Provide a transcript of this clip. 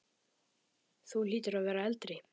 Þú hlýtur að vera eldri!